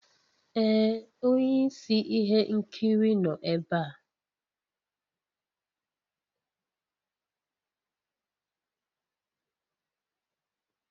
Ee onye isi ihe nkiri nọ ebe a.